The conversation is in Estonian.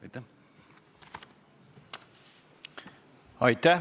Aitäh!